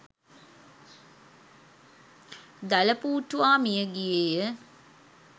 දළපූට්ටුවා මිය ගියේය